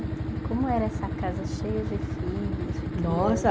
E como era essa casa cheia de filhos Nossa e